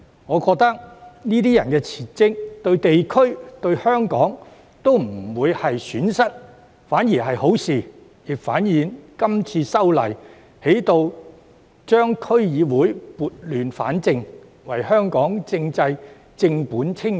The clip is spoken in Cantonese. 我認為這些人即使辭職也不會對地區和香港帶來損失，反而是好事，亦反映《條例草案》能夠為區議會撥亂反正，為香港的政制正本清源。